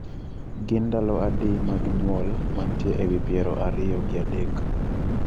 Gin ndalo adi mag nyuol mantie ewi piero ariyo gi adek